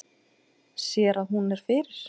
Sér að hún er fyrir.